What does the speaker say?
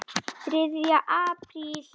ÞRIÐJA APRÍL